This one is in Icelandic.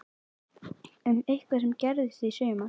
Um eitthvað sem gerðist í sumar?